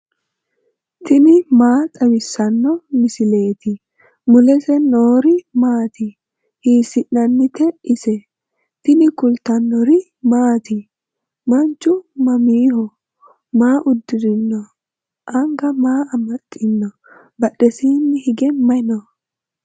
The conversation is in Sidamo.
tini maa xawissanno misileeti ? mulese noori maati ? hiissinannite ise ? tini kultannori maatti? Manchu mamiho? Maa udirinno anga maa amaxiinno? Badheesiinni hige mayi noo?